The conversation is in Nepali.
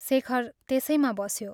शेखर त्यसैमा बस्यो।